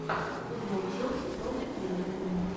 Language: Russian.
футбол челси против ливерпуля